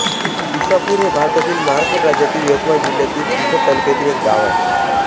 इसापूर हे भारतातील महाराष्ट्र राज्यातील यवतमाळ जिल्ह्यातील पुसद तालुक्यातील एक गाव आहे